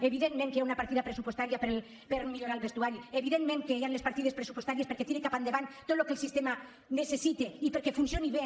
evidentment que hi ha una partida pressupostària per millorar el vestuari evidentment que hi han les partides pressupostàries perquè tiri cap endavant tot el que el sistema necessita i perquè funcioni bé